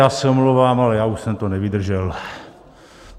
Já se omlouvám, ale já už jsem to nevydržel.